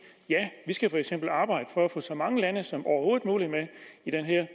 ja vi skal arbejde for at få så mange lande som overhovedet muligt med i den her